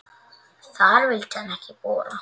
Þar vildi hann ekki bora.